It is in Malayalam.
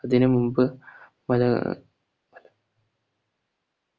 അതിനുമുമ്പ്